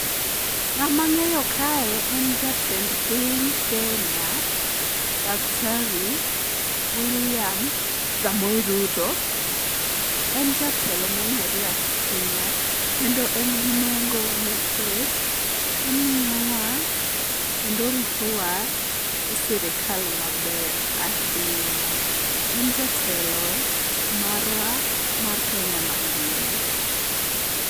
Ng'ama ng'eyo kae en jatend piny kenya, daktari William Samoe Ruto. En jatelo mong'ere ahinya kendo en gi nengo nikech omiyowa kendo oritowa i sirikal maber ahinya. En jatelo marwa mar Kenya mangima.